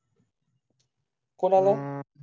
कोणाला